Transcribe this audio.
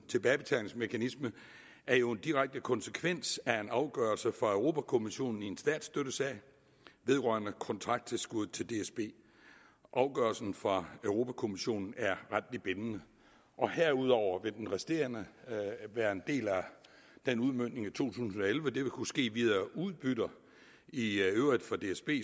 tilbagebetalingsmekanisme er jo en direkte konsekvens af en afgørelse fra europa kommissionen i en statsstøttesag vedrørende kontrakttilskud til dsb og afgørelsen fra europa kommissionen er retligt bindende herudover vil den resterende del af udmøntningen tusind og elleve kunne ske via udbytter i øvrigt fra dsb